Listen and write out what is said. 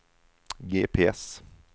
GPS